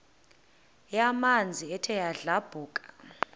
yamanzi ethe yadlabhuka